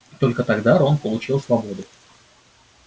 и только тогда рон получил свободу